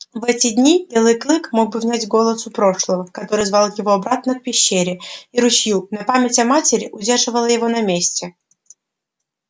в эти дни белый клык мог бы внять голосу прошлого который звал его обратно к пещере и ручью но память о матери удерживала его на месте